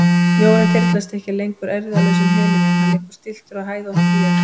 Snjórinn þyrlast ekki lengur eirðarlaus um himininn, hann liggur stilltur á hæðóttri jörð.